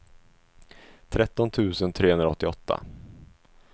tretton tusen trehundraåttioåtta